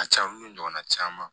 A caman ni ɲɔgɔnna caman